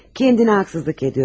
Özünə haqsızlıq edirsən.